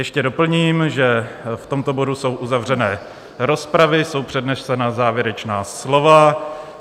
Ještě doplním, že v tomto bodu jsou uzavřené rozpravy, jsou přednesena závěrečná slova.